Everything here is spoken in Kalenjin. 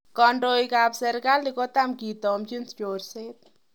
Kondoik kap sirkali kotam kitomchin chorset.